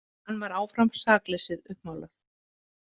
Hann var áfram sakleysið uppmálað.